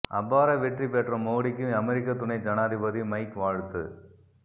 அபார வெற்றி பெற்ற மோடிக்கு அமெரிக்க துணை ஜனாதிபதி மைக் வாழ்த்து